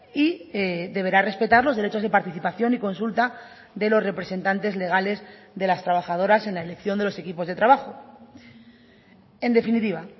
y deberá respetar los derechos de participación y consulta de los representantes legales de las trabajadoras en la elección de los equipos de trabajo en definitiva